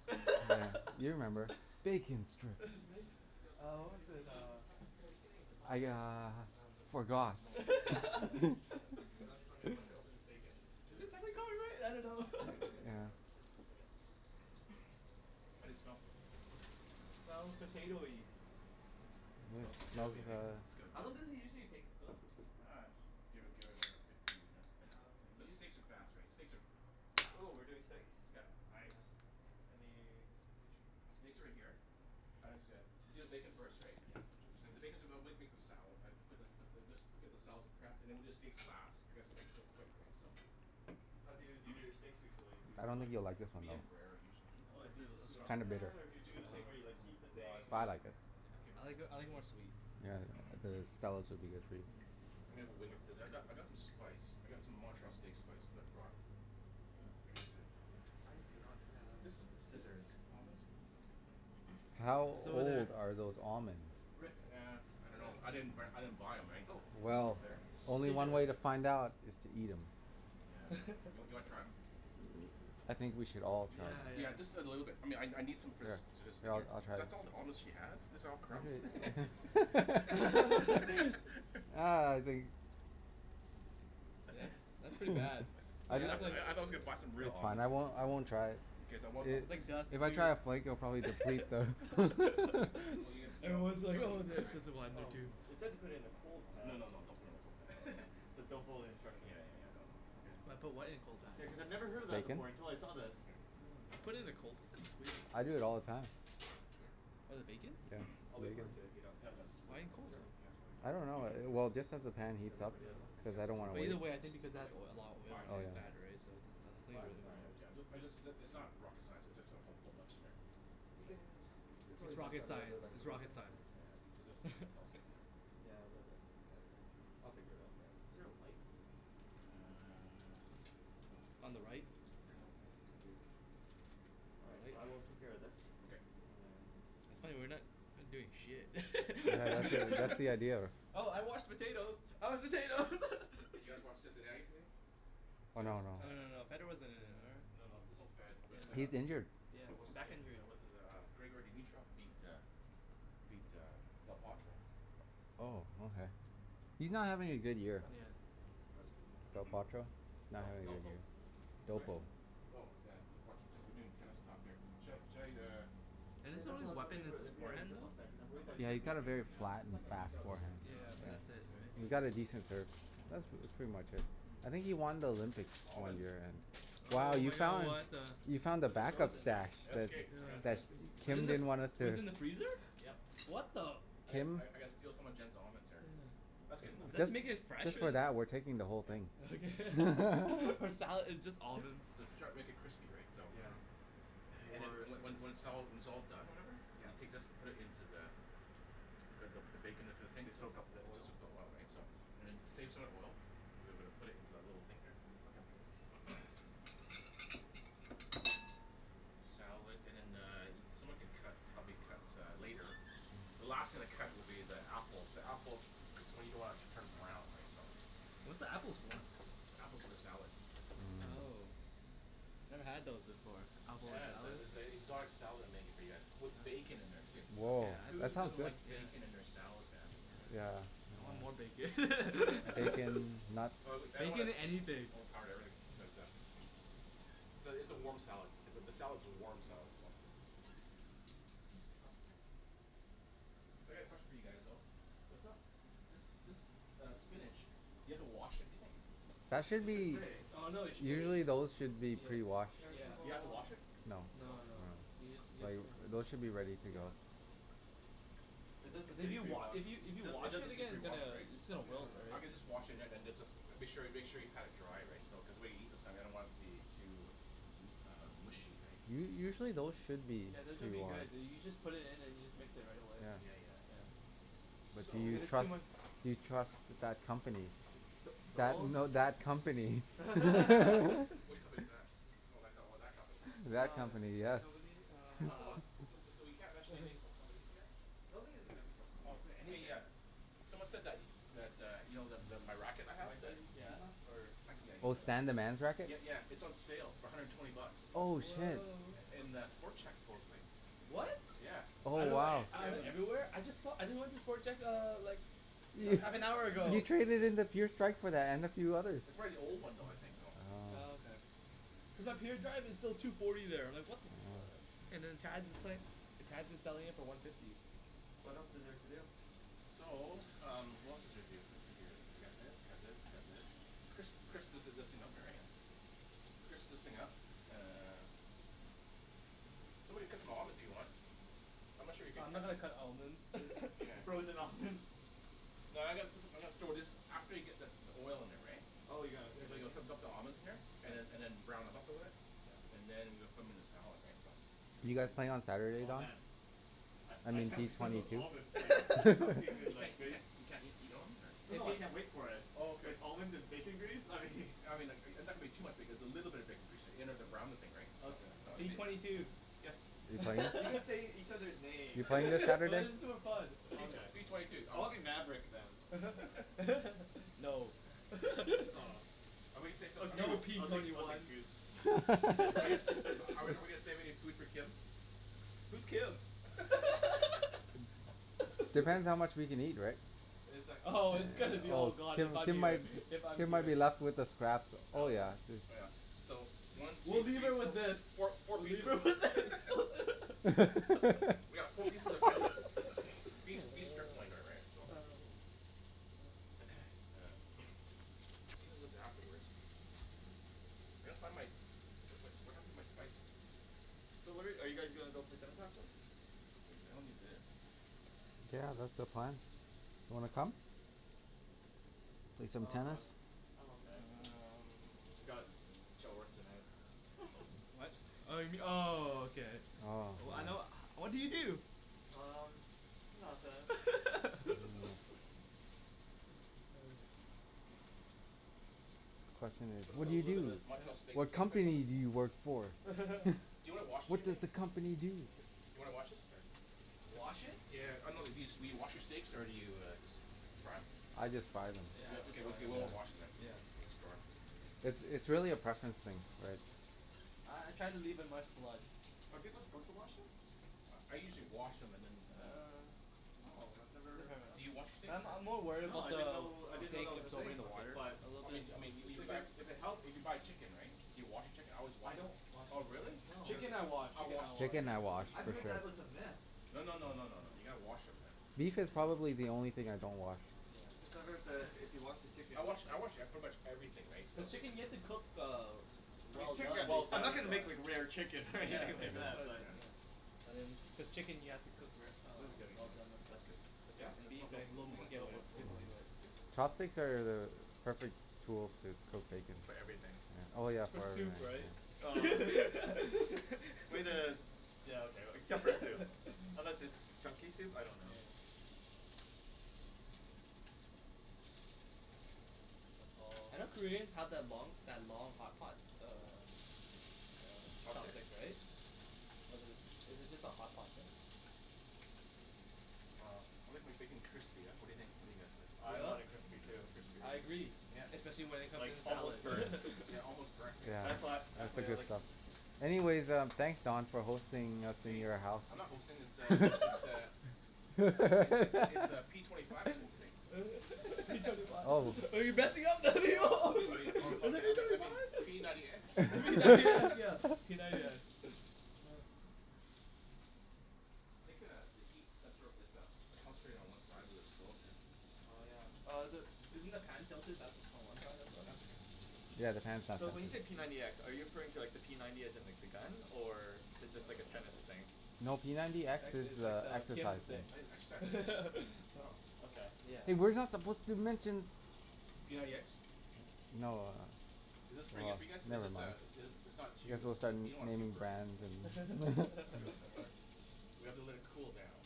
thing. Yeah. You remember. "Bacon strips" These look Uh pretty what was Do it, good. we uh ha- have you seen any zip lock I bags? uh Uh zip lock bag? forgot. No. Okay. Hey, I was just wondering, once I open this bacon, what's the Have we got it right? I don't know. It would be good to Yeah. have a place to put it. How do they smell? Smells potatoey. Smells potatoey, right? It's got How a long bit does it usually take to cook? Uh, just give it give it another fifteen minutes. Oh, okay. But steaks are fast, right? Steaks are fast, Ooh, we're doing right? steaks? Yep. Nice. Any, which Steaks are right here. uh-huh. I guess uh, you do the bacon first, right? Yeah, I'll do this make the salad, right. Put the put this put the just get the salad's prepped, and then we'll do the steaks last, because steaks are so quick, right. So How do you do your steaks usually? Do you I do don't like think you'll like this the one though. Medium rare, usually. Oh Oh is do you it just a do it It's on the song? kind of bitter. pan, or do you do the thing where you like heat the No, let's thing But and do it I on the like it. pan. Keep it I like simple I like it more sweet. Yeah. The Stella's would be good for you. I mean when, cuz I've got Uh I've got some spice. I got some Montreal steak spice that I brought. Uh, here is the I do not have scissors. How It's over there. old are those almonds? Rick, Nah, there. I don't know. I didn't b- I didn't buy 'em, right? Oh, So thank you Well sir. Only one way to find Scissors. out, is to eat 'em. Yeah. You w- you wanna try 'em? I think we should all Yeah, try. Yeah. yeah. Just a little bit. I mean I n- I need some Yeah, I'll I'll try. That's all the almonds she has? These are all crumbs. Ah, I think That's that's pretty bad. I But di- I was like you a box of real it's fine, almonds. I won't I won't try. Okay. Then It what was like dust, If I try a flake I'll dude. probably deplete the It was like, oh it's just one or Oh, two. it said to put it in a cold No, pan. no, no. Don't put it in a cold pan. So don't follow the Yeah instructions. yeah yeah, no no. Okay. Put what in a cold pan? Yeah, cuz I've never heard of that before until I saw this. Here. Oh, I put it in the cold. I do it all the time. What, the Here. bacon? Yeah. I'll wait for it to heat up Yeah, and no, then just put Why it in cold? in Sure? just I don't put it in. know. Well, just as the pan Should I heats wait up, for the other ones? cuz Yeah. I That's don't too wanna But many. either way, I think There's because it probably adds like a lot of f- oil five pieces and in there. fat, right, so Five? All right. Yeah. I just I just, it's not rocket science. It's just, put a whole bunch in there. We can, it's It's always nice to rocket have a little bit science. of extra It's bacon. rocket Yeah. This science. is all sticking here. Yeah, a little bit. That's, I'll figure it out. Yeah. Is there a light? Uh On the right. Here you go. Thank you. All right, I will take care of this. Okay. And That's funny, we're not doing shit. that's the idea of her. Oh, I washed the potatoes. I washed potatoes. Hey, did you guys watch Cincinnati today? Tennis. Oh Oh no, no no Tennis? no. no. Federer wasn't in it, or No, no. There's no Fed, but uh He's injured. Yeah, But what's his back name, injury. uh what's his uh, Grigor Dimitrov beat uh beat uh Del Potro Oh, okay. He's not Awesome. having a good That's year. Yeah. cool. That's cool. Del Potro? Uh, D- Delpo? Sorry? Oh, yeah. We're doing tennis talk here. Should I should I, uh And Yeah, his that's only why I was weapon wondering is wh- his if we had a forehand zip though? lock bag because I'm I'll worried that put it it's Yeah, here, gonna he's leak. I'll got put it a here very for now. flat It's and not gonna leak fast out, is forehand. it? Nah. Yeah. But that's it, right? You got Hey! a decent That's pretty much it. I think he won the Olympic Almonds. Wow, Oh you my god, found what the the You found the But they're back up frozen now. stash That's okay. I'm gonna I'm Yeah. That Just you Wasn't microwave it, didn't gonna them? want us it to was in the freezer? Yep. What the I gotta st- I Kim I gotta steal some of Jen's almonds here. That's good enough. Is that to make it fresh Just or for s- that, we're taking the whole Yeah. thing. Okay. For salad. It's just almonds. So to try and make it crispy, right. So Yeah. And then, More and so- when when it's all, when it's all done, or whatever Yeah. You take this, put it into the the, the bacon into the thing To soak up the It oil. soaks up the oil, right. So, and then save some of the oil. We're gonna put it in our little thing here. Okay. Salad and then the, someone could cut, help me cut uh later. The last thing to cut will be the apples. The apples, you don't wanna turn brown, right, so What's the apples for? The apple's for the salad. Oh. Never had those before. Apple in a Yes. salad. It's a exotic style that I'm making for you guys, with bacon in there too. Woah. Whose That sounds doesn't good. like Yeah. Yeah. bacon in their salad, man? Yeah. I want more bacon. Bacon, nuts. Oh I w- I don't wanna Bacon anything. overpower the herb but uh. So, it's a warm salad. It's a, the salad's a warm salad though. So, I got a question for you guys though. What's up? This this uh spinach, do you have to wash it, do you think? That should It should be say. Oh no they sh- Usually those should be Yeah. pre-washed. Here's the Do you have to bowl. wash it? No. No, no. Yeah. Those should be ready to Yeah. go. It doesn't If say you wa- pre-washed. if you if It you doesn't it wash doesn't it say again it's pre-washed, gonna right? it's gonna wilt, I right? Yeah. can just wash it and then it's just, make sure y- make sure you pat it dry, right? So cuz when we eat this I don't want the it to be um too uh mushy, right? U- usually those should be Yeah. This should be good. You you just put it in and you just mix it right away. Yeah yeah yeah. S- So Do you it's too trust much. do you trust that company? That, no that company. Which company is that? Oh, that co- that company. That Oh, company, yeah, that yes. company. Uh Talk about, uh so, so we can't mention anything about companies here? No, we didn't mention company Okay, names, yeah. yeah. Someone said that that, uh, you know the the my racket I Can have, I that use that or I can, yeah, I'll Oh, use Stan the that. man's racket? Yeah, yeah. It's on sale for a hundred and twenty bucks. Oh Oh shit. wow. In the Sport Chek supposedly. What? Yeah. Oh I know, wow. I went everywhere. I just saw, I just went to Sport Chek uh, like half an hour You ago. traded in and a few others. It's probably the old one though, I think, you know. Oh, Oh. okay. Cuz up here, the drive is still two forty there. Like what the fuck selling it for one fifty. What else is there to do? So, um what else is there to do here, what's here, you got this, you got this, you got this. Crisp, crisp this is up here, right? Okay. Crisp this thing up uh Somebody cut them almonds, if you want. I'm not sure you can Uh I'm not cut gonna cut almonds. the Yeah. Frozen almonds. No, I'm gonna put, I'm gonna throw this after you get the the oil in there, right. Oh, you're gonna put it in there? the almonds in here. And then and then brown them up a bit. Yeah. And then, we'll put them 'em in the salad, right. So You Ooh. guys playing on Saturday, Oh Don? man. I I I mean can't P wait for twenty those two. almonds like soak your hand You like can't you can't you can't eat eat almonds, or? Oh no I can't wait for it. Oh, okay. Like almonds and bacon grease, I mean I mean like, and that would be too much because a little bit of bacon grease there, you know, to brown the thing, right. So, Okay, P whatever. if it twenty two. Yes? Are you playing? You can say each other's names. That is too fun. Okay. P twenty two. I'll be Maverick then. No. Aw. Are Or we No, Goose. P I'll gonna take twenty I'll say take one. Goose. something? Are we are we gonna save any food for Kim? Who's Kim? Depends how much we can eat, right? Oh, it's gonna be all gone Kim if I'm Kim here, might if I'm Kim might here. be left with the scraps. Oh, yeah. Dude. Oh yeah. So, one, two, We'll three, leave her with fo- this. four four We'll leave pieces her with this. We got four pieces of tender beef beef strip loin though, right? So. Then sear this afterwards. I gotta find my, where's my, what happened to my spices? So where are you guys gonna go play tennis this afternoon? I don't need this. Yeah, that's the plan. Wanna come? Play some Oh no, tennis. I'm okay. I got Um. work tonight What? Oh you m- oh, okay. Oh. I know what do you do? Um, nothing. There you go. The question is Put a put "What do a you little bit do? of this Montreal steak What steak spice on company this do you work for?" Do you wanna wash it "What for does me? the company do?" Do you wanna wash this or? Wash it? Yeah. I know it used to be, do you wash your steaks or do you just fry 'em? I just fry them. Yeah. Okay, okay, we're not washing then. Yeah. Just fry 'em. It's it's really a preference thing, right. Uh I try to leave in much blood. Are people supposed to wash them? I I usually wash them and then and then Uh Oh, I've never Do you wash steaks Uh I'm I'm or? more worried No. about I didn't the know I didn't know steak that was a absorbing thing. the Okay. water. But I mean, I mean, if you if buy, it if it helps if you buy chicken, right? Do you wash your chicken? I always I wash don't wash the Oh, really? chicken. No. Chicken I wash, I chicken wash I wash. chicken. Chicken Yeah. I wash I've for heard sure. that was a myth. No no no no. You gotta wash 'em, man. Beef is probably the only thing I don't wash. Cuz Yeah. I've heard that if you wash the chicken I wash I wash, yeah, pretty much everything, right, so The chicken you have to cook uh I mean well chicken, done. Well I'm not done. gonna make like rare chicken Yeah, like that's why I was like, yeah But chicken you have to cook wer- uh well done as well. That's good. Yeah? No, no. A little Little more, more. little more. Chopsticks are the perfect tool to cook bacon. For everything. Oh yeah. For soup, right? Way to, yeah okay, except for soup. Unless it's chunky soup, I don't know. Yeah. I know Koreans have that long that long hot pot, uh Chopstick, Chopstick? right? Was it, is it just a hot pot thing? I like my bacon crispy, yeah? What do you think? What do you guys think? I want it crispy too. I agree. Especially when it comes to Like the almost salad. burnt. Yeah, almost burnt, right, That's so what, that's the way I like it. Anyways, um, thanks Don for hosting us in Hey, your house. I'm not hosting this uh, this uh It's like, it's it's it's uh p twenty five who's hosting. P twenty five Oh. I mean, oh no, I mean, I me- I mean, p ninety x P ninety x, yeah, p ninety x. I think uh, the heat center is uh, concentrated one side of the stove here. Oh yeah. Uh the, isn't the pan tilted back on one side as Yeah, well? that's okay. Yeah, the pan's not So when tilted. you say p ninety x, are you referring to like the p ninety as in like the gun? Or is this like a tennis thing? No, p ninety x X is is like uh the Kim exercising I need an exercise thing. Oh, okay. Yeah. Hey, we're not supposed to mention P ninety x? No. Is Oh this pretty good well, for you guys? It's never just uh mind. it's it's not too, You guys both started you don't wanna too naming burnt, brands and that's the thing. We have to let it cool down.